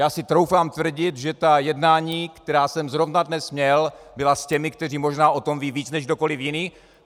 Já si troufám tvrdit, že ta jednání, která jsem zrovna dnes měl, byla s těmi, kteří možná o tom vědí víc než kdokoliv jiný.